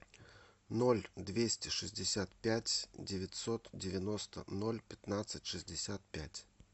ноль двести шестьдесят пять девятьсот девяносто ноль пятнадцать шестьдесят пять